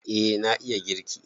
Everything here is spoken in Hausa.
Eh na iya girki